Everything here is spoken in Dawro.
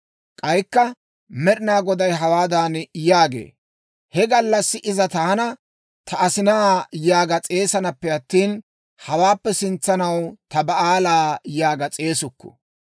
K'aykka Med'inaa Goday hawaadan yaagee; «He gallassi iza taana, ‹Ta asinaa› yaaga s'eesanappe attina, hawaappe sintsanaw, ‹Ta Ba'aala› yaaga s'eesukku.